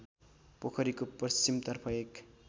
पोखरीको पश्चिमतर्फ एक